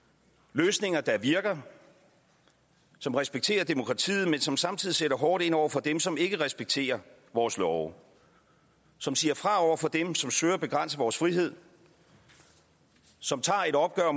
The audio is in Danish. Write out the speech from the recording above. løsninger der virker som respekterer demokratiet men som samtidig sætter hårdt ind over for dem som ikke respekterer vores love som siger fra over for dem som søger at begrænse vores frihed som tager et opgør